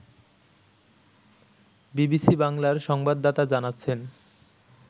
BBC বাংলার সংবাদদাতা জানাচ্ছেন